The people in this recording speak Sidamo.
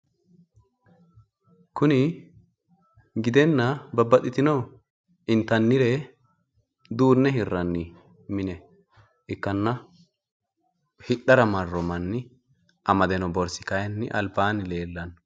kuni gidenna babaxitinore intannire duunne hirranni mine ikkanna hidhara marro manni amade noo borssi kayiinni albaanni leellanno,